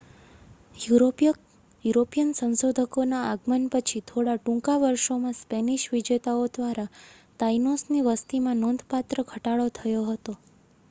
European સંશોધકોના આગમન પછીના થોડા ટૂંકા વર્ષોમાં સ્પેનિશ વિજેતાઓ દ્વારા તાઈનોસની વસતીમાં નોંધપાત્ર ઘટાડો થયો હતો